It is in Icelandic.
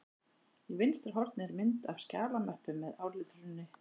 Í vinstra horni er mynd af skjalamöppu með áletruninni